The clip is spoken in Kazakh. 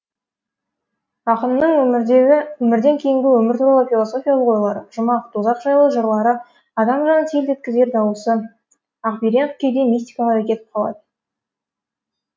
ақын ның өмірден кейінгі өмір туралы философиялық ойлары жүмақ тозақ жайлы жырла ры адам жанын селт еткізері даусыз ақберен кейде мистикаға да кетіп қалады